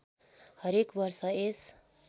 हरेक वर्ष यस